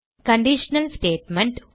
கண்டிஷனா statement